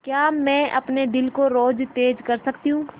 क्या मैं अपने दिल को और तेज़ कर सकती हूँ